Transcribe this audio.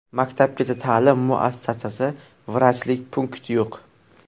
Maktabgacha ta’lim muassasasi, vrachlik punkti yo‘q.